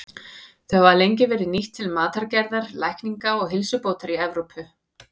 Þau hafa lengi verið nýtt til matargerðar, lækninga og heilsubótar í Evrópu.